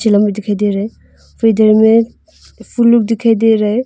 दे रहे हैं फिर इधर मे दिखाई दे रहे--